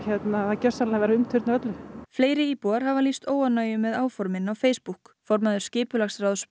gjörsamlega verið að umturna öllu fleiri íbúar hafa lýst óánægju með áformin á Facebook formaður skipulagsráðs